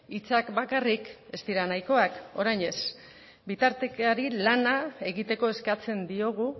hitzak bakarrik ez dira nahikoak orain ez bitartekari lana egiteko eskatzen diogu